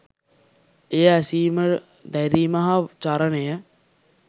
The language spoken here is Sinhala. එය ඇසීම දැරීම හා චරණය